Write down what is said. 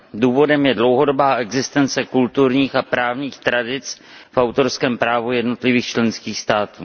Důvodem je dlouhodobá existence kulturních a právních tradic v autorském právu jednotlivých členských států.